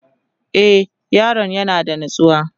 e Yaron yana da natsuwa